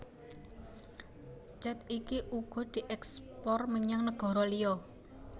Cet iki uga dièkspor menyang negara liya